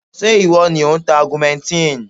Ṣé ìwọ ni ò ń ta augmentin?